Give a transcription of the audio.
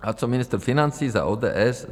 A co ministr financí za ODS?